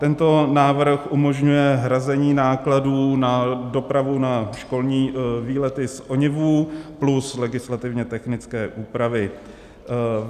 Tento návrh umožňuje hrazení nákladů na dopravu na školní výlety z ONIV plus legislativně technické úpravy.